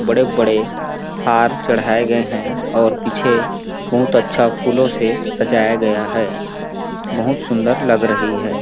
बड़े-बड़े हार चढ़ाऐ गए है और पीछे बहुत अच्छा फूलो से सजाया गया है बहुत सुंदर लग रही हैं।